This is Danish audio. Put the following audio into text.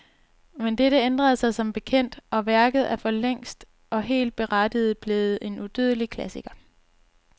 Men dette ændrede sig som bekendt, og værket er forlængst, og helt berettiget, blevet en udødelig klassiker.